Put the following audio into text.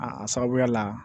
A sababuya la